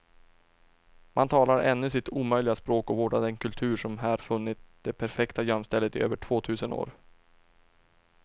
Man talar ännu sitt omöjliga språk och vårdar den kultur som här funnit det perfekta gömstället i över två tusen år.